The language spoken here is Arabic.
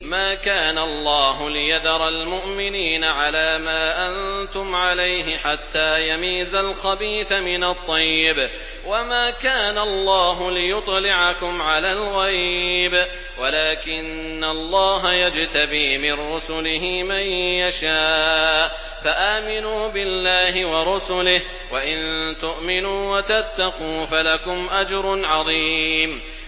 مَّا كَانَ اللَّهُ لِيَذَرَ الْمُؤْمِنِينَ عَلَىٰ مَا أَنتُمْ عَلَيْهِ حَتَّىٰ يَمِيزَ الْخَبِيثَ مِنَ الطَّيِّبِ ۗ وَمَا كَانَ اللَّهُ لِيُطْلِعَكُمْ عَلَى الْغَيْبِ وَلَٰكِنَّ اللَّهَ يَجْتَبِي مِن رُّسُلِهِ مَن يَشَاءُ ۖ فَآمِنُوا بِاللَّهِ وَرُسُلِهِ ۚ وَإِن تُؤْمِنُوا وَتَتَّقُوا فَلَكُمْ أَجْرٌ عَظِيمٌ